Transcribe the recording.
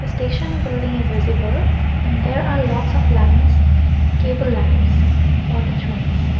station building is visible and there are lots of lines cable lines for the trains.